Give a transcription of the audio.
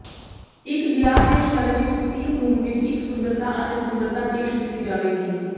ਇੱਕ ਦਿਆਰ ਦੇ ਸ਼ਲ ਵਿੱਚ ਸਟੀਮ ਰੂਮ ਵਿੱਚ ਇੱਕ ਸੁੰਦਰਤਾ ਅਤੇ ਸੁੰਦਰਤਾ ਪੇਸ਼ ਕੀਤੀ ਜਾਵੇਗੀ